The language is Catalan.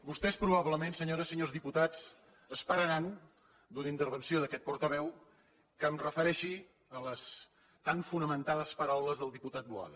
vostès probablement senyores i senyors diputats esperaran d’una intervenció d’aquest portaveu que em refereixi a les tan fonamentades paraules del diputat boada